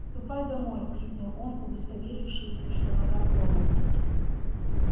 ступай домой крикнул он удостоверившись что нога сломана